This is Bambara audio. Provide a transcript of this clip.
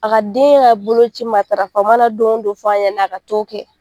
A ka den ka boloci matarafa, u mana don o don f'a ɲɛnɛ a ka taa o kɛ.